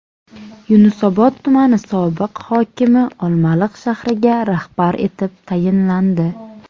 Yunusobod tumani sobiq hokimi Olmaliq shahriga rahbar etib tayinlandi.